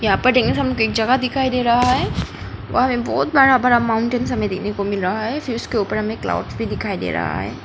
यहां पर एक जगह दिखाई दे रहा है वहां पे बहुत बड़ा बड़ा माउंटेन हमे देखने को मिल रहा है फिर उसके ऊपर हमे क्लाउड्स भी दिखाई दे रहा है।